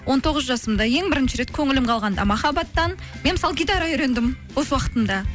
он тоғыз жасымда ең бірінші рет көңілім қалғанда махаббаттан мен мысалы гитара үйрендім бос уақытымда